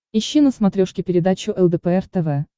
ищи на смотрешке передачу лдпр тв